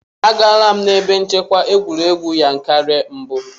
Agaala m ebe nchekwa egwuregwu Yankari mbụ.